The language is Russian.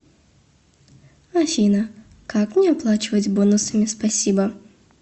афина как мне оплачивать бонусами спасибо